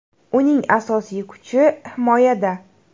Uning asosiy kuchi himoyada.